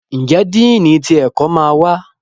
Njé Dínni tí ẹkọ má wá?